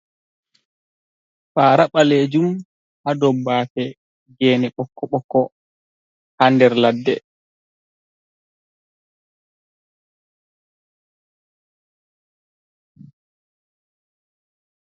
Fara balejum. Ha ɗow bafe, gene bokko-bokko. ha nɗer laɗɗe.